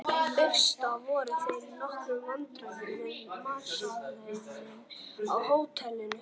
Í fyrstu voru þeir í nokkrum vandræðum með matseðilinn á hótelinu.